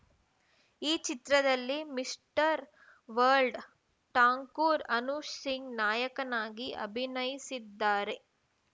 ಈ ಚಿತ್ರದಲ್ಲಿ mister world Thakur Anup Singh ನಾಯಕನಾಗಿ ಅಭಿನಯಿಸಿದ್ದಾರೆ